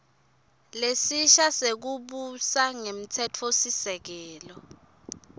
lesisha sekubusa ngemtsetfosisekelo